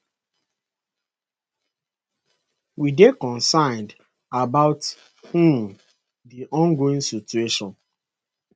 we dey concerned about um di ongoing situation